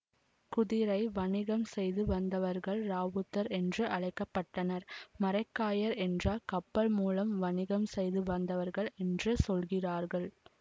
குதிரை வணிகம் செய்து வந்தவர்கள் இராவுத்தர் என்று அழைக்க பட்டனர் மரைக்காயர் என்றால் கப்பல் மூலம் வணிகம் செய்து வந்தவர்கள் என்று சொல்கிறார்கள்